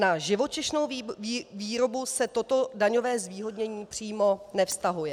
Na živočišnou výrobu se toto daňové zvýhodnění přímo nevztahuje.